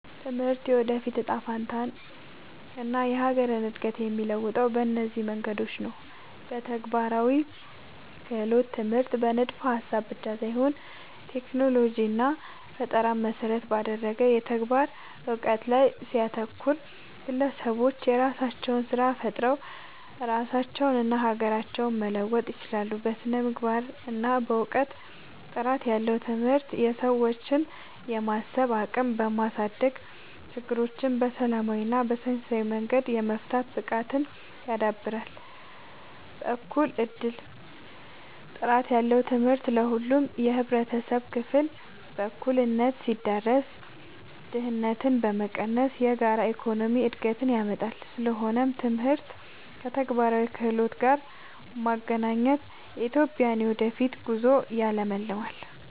ትምህርት የወደፊት እጣ ፈንታንና የሀገርን እድገት የሚለውጠው በእነዚህ መንገዶች ነው፦ በተግባራዊ ክህሎት፦ ትምህርት በንድፈ-ሀሳብ ብቻ ሳይሆን ቴክኖሎጂንና ፈጠራን መሰረት ባደረገ የተግባር እውቀት ላይ ሲያተኩር፣ ግለሰቦች የራሳቸውን ስራ ፈጥረው ራሳቸውንና ሀገራቸውን መለወጥ ይችላሉ። በስነ-ምግባርና እውቀት፦ ጥራት ያለው ትምህርት የሰዎችን የማሰብ አቅም በማሳደግ፣ ችግሮችን በሰላማዊና በሳይንሳዊ መንገድ የመፍታት ብቃትን ያዳብራል። በእኩል እድል፦ ጥራት ያለው ትምህርት ለሁሉም የህብረተሰብ ክፍል በእኩልነት ሲዳረስ፣ ድህነትን በመቀነስ የጋራ የኢኮኖሚ እድገትን ያመጣል። ስለሆነም ትምህርትን ከተግባራዊ ክህሎት ጋር ማገናኘት የኢትዮጵያን የወደፊት ጉዞ ያለምልማል።